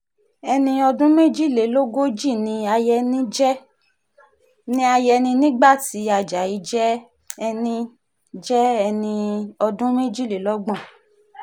ẹni ọdún méjìlélógójì ni ayẹni nígbà tí ajayi jẹ́ ẹni jẹ́ ẹni ọdún méjìlélọ́gbọ̀n